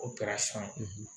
O kɛra san